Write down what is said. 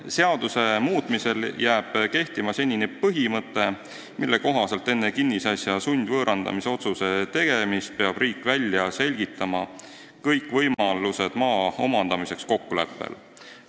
Seaduse muutmisel jääb kehtima senine põhimõte, mille kohaselt enne kinnisasja sundvõõrandamise otsuse tegemist peab riik välja selgitama kõik võimalused maa omandamiseks kokkuleppel.